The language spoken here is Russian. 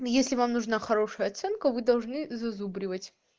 если вам нужна хорошая оценка вы должны зазубривать